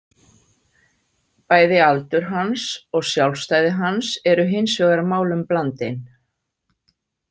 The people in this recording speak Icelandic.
Bæði aldur hans og sjálfstæði hans eru hins vegar málum blandin.